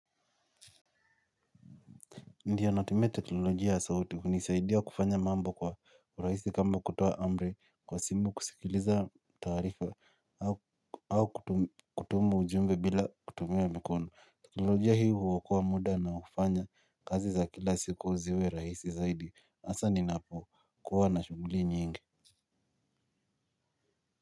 Ndiyo natumia teknolojia sauti hunisaidia kufanya mambo kwa uraisi kama kutoa amri kwa simu kusikiliza taarifa au kutuma ujumbe bila kutumia mikono. Teknolojia hii huokoa muda na ufanya kazi za kila siku ziwe rahisi zaidi. Asa ninapo kuwa na shuguli nyingi.